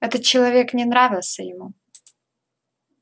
этот человек не нравился ему